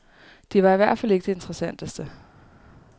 De var i hvert fald ikke det interessanteste.